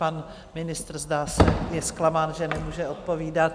Pan ministr, zdá se, je zklamán, že nemůže odpovídat.